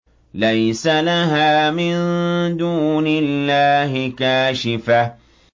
لَيْسَ لَهَا مِن دُونِ اللَّهِ كَاشِفَةٌ